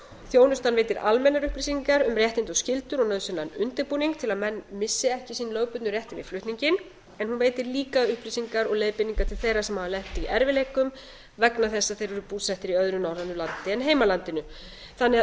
þjónustan veitir almennar upplýsingar um réttindi og skyldur og nauðsynlegan undirbúning til að menn missi ekki sín lögbundnu réttindi við flutning en hún veitir líka upplýsingar og leiðbeiningar til þeirra sem hafa lent í erfiðleikum vegna þess að þeir eru búsettir í öðru norrænu landi en heimalandinu þannig